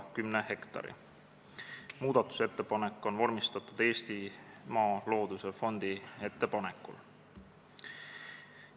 Muudatusettepanek on vormistatud Eestimaa Looduse Fondi ettepanekul.